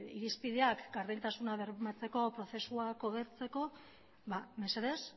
irizpideak gardentasuna bermatzeko prozesuak hobetzeko mesedez